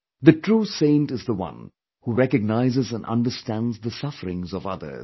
The true saint is the one who recognizes & understands the sufferings of others